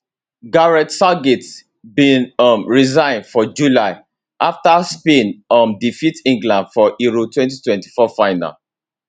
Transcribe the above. gareth southgate bin um resign for july afta spain um defeat england for euro 2024 final